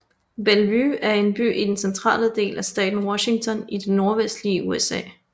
Bellevue er en by i den centrale del af staten Washington i det nordvestlige USA